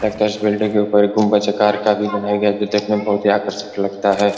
लगता है इस बिल्डिंग के ऊपर एक गुम्बज आकार का भी बनाया गया है जो देखने में बोहोत ही आकर्षक लगता है।